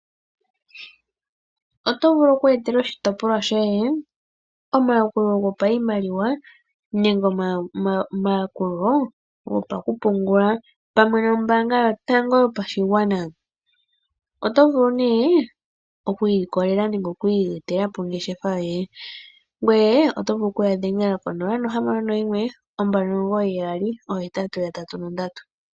Otu vulu oku etela oshitopolwa shoye omayakulo gopashimaliwa nenge omayakulo gopakupungula pamwe nOmbaanga Yotango Yopashigwana. Oto vulu nee oku ilikolela nenge oku iyetela po ongeshefa yoye. Ngoye oto vulu oku ya dhengela 061 2998883.